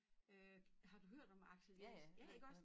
Øh har du hørt om Axel Eriksen ja iggås?